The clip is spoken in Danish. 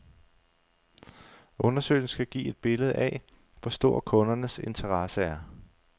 Undersøgelsen skal give et billede af, hvor stor kundernes interesse er.